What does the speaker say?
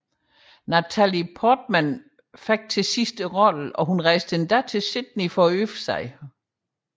Natalie Portman fik til slut rollen og rejste endda til Sydney for øvelser